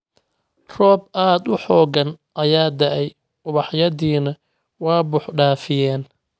Roob aad u xooggan ayaa da’ay ubaxyadiina waa buux dhaafiyeen